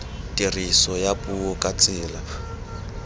tiriso ya puo ka tsela